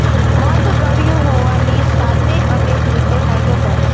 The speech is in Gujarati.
મધ ગળ્યું હોવાની સાતે અનેક રીતે ફાયદો કરે છે